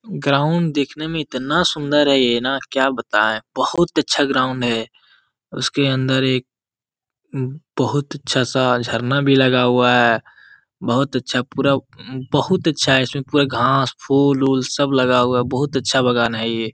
Ground दिखने में ई इतने सुन्दर है क्या बताए बहुत अच्छा ग्राउंड है उसके अन्दर एक बहुत अच्छा सा झरना लगाए हुआ है बहुत अच्छा बहुत अच्छा इसमें घास पुल वुल भी लगा हुआ है।